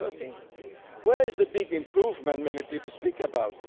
2013. Where is the big improvement many people speak about?